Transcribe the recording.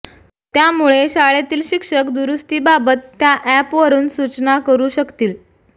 त्यामुळे शाळेतील शिक्षक दुरुस्तीबाबत त्या ऍपवरून सुचना करू शकतील